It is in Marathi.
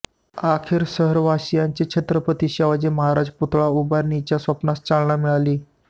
अखेर शहरवासियांचे छत्रपती शिवाजी महाराज पुतळा उभारणीच्या स्वप्नास चालना मिळाली